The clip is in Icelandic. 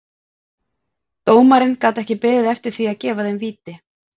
Dómarinn gat ekki beðið eftir því að gefa þeim víti.